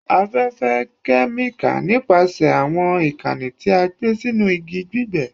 Afẹfẹ, kẹmika nipasẹ awọn ikanni ti a gbe sinu igi gbigbe